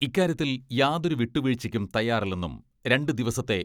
ഇക്കാര്യത്തിൽ യാതൊരു വിട്ടു വീഴ്ചയ്ക്കും തയ്യാറില്ലെന്നും രണ്ടു ദിവസത്തെ